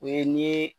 O ye nii